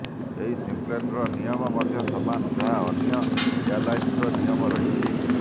ଏହି ସିପ୍ଲେନର ନିୟମ ମଧ୍ୟ ସମାନ ଯାହା ଅନ୍ୟ ଏୟାରଲାଇନ୍ସର ନିୟମ ରହିଛି